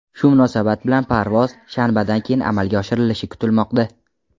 Shu munosabat bilan parvoz shanbadan keyin amalga oshirilishi kutilmoqda.